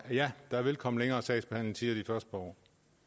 ja der vil komme længere sagsbehandlingstider de første par år